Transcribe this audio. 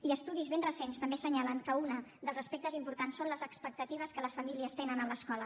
i estudis ben recents també assenyalen que un dels aspectes importants són les expectatives que les famílies tenen en l’escola